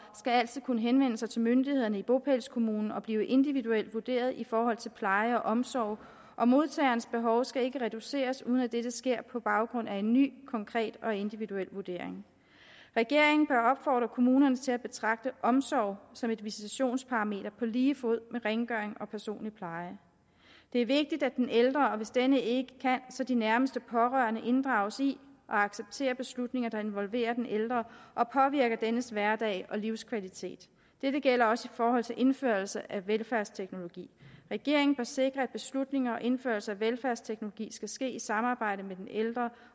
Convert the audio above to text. skal altid kunne henvende sig til myndighederne i bopælskommunen og blive individuelt vurderet i forhold til pleje og omsorg og modtagerens behov skal ikke reduceres uden at dette sker på baggrund af en ny konkret og individuel vurdering regeringen bør opfordre kommunerne til at betragte omsorg som et visitationsparameter på lige fod med rengøring og personlig pleje det er vigtigt at den ældre og hvis denne ikke kan så de nærmeste pårørende inddrages i og accepterer beslutninger der involverer den ældre og påvirker dennes hverdag og livskvalitet dette gælder også i forhold til indførelse af velfærdsteknologi regeringen sikre at beslutninger om indførelse af velfærdsteknologi skal ske i samarbejde med den ældre